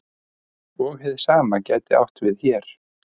Og hið sama gæti átt við hér.